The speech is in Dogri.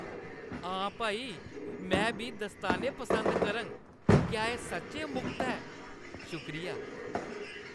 हा भाई, में बी दस्ताने पसंद करङ। क्या एह् सच्चैं मुख्त ऐ? शुक्रिया !